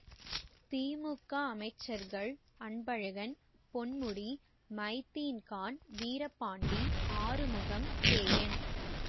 திமுக அமைச்சர்கள் அன்பழகன் பொன்முடி மைதீன்கான் வீரபாண்டி ஆறுமுகம் கேஎன்